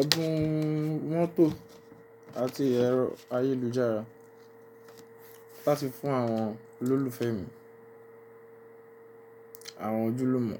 ẹ̀bùn-un mọ́tò àti ẹ̀rọ ayélujára láti fún àwọn olólùfẹ́ mi. Àwọn ojúlùmọ̀.